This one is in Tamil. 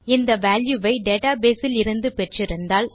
இந்த வால்யூ வை டேட்டா பேஸ் இலிருந்து பெற்றிருந்தால்